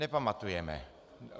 Nepamatujeme.